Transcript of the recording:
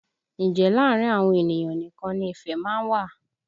Ǹjẹ́ láàrin àwọn ènìyàn nìkan ni ìfẹ́ má ń wà?